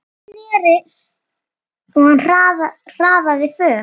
Og hann hraðaði för.